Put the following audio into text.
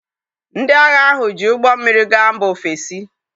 Ndị agha ahụ ji ụgbọ mmiri gaa mba ofesi.